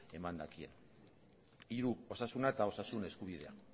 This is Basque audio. eman dakien hiru osasuna eta osasun eskubidea